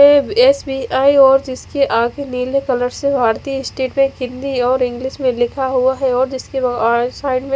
जिसके आगे नीले कलर से हिंदी और इंग्लिश में लिखा हुआ है और जिसके आउट साइड में--